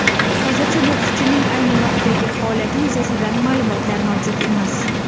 Hozircha bokschining ayni vaqtdagi holati yuzasidan ma’lumotlar mavjud emas.